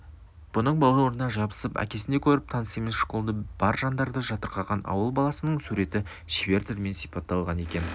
бұның бауырына жабысып әкесіндей көріп таныс емес школды бар жандарды жатырқаған ауыл баласының суреті шебер тілмен сипатталған екен